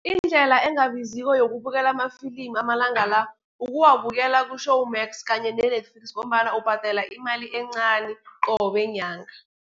Indlela engabiziko yokubukela amafilimu amalanga la, ukuwabukela ku-Showmax, kanye ne-Netflix ngombana ubhadela imali encani, qobe nyanga.